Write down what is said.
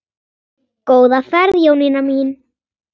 Góða ferð Jónína mín.